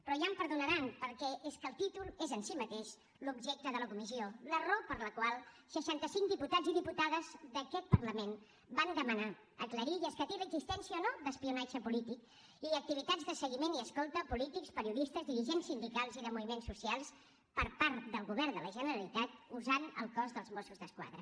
però ja em perdonaran perquè es que el títol és en sí mateix l’objecte de la comissió la raó per la qual seixanta cinc diputats i diputades d’aquest parlament van demanar aclarir i escatir l’existència o no d’espionatge polític i activitats de seguiment i escolta a polítics periodistes dirigents sindicals i de moviments socials per part del govern de la generalitat usant el cos dels mossos d’esquadra